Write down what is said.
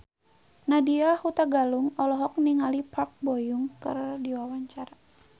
Nadya Hutagalung olohok ningali Park Bo Yung keur diwawancara